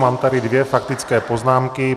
Mám tady dvě faktické poznámky.